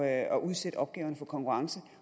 at udsætte opgaverne for konkurrence